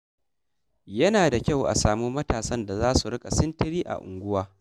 Yana da kyau a samu matasan da za su rika sintiri a unguwarmu.